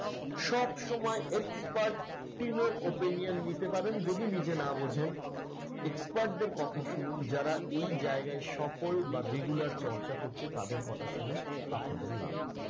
সব সময় expert team এর opinion নিতে পারেন। যদি নিজে না বোঝেন expert দের কথা শুনুন। যারা এই জায়গায় সফল বা regular চর্চা করছে তাদের কথা শুনুন, আপনাদের লাভ হবে।